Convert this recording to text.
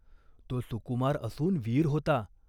तो सुकुमार असून वीर होता.